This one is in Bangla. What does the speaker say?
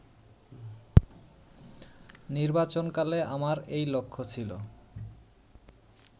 নির্বাচনকালে আমার এই লক্ষ্য ছিল